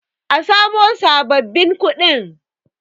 a samo sababbin kuɗin!